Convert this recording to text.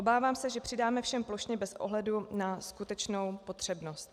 Obávám se, že přidáme všem plošně bez ohledu na skutečnou potřebnost.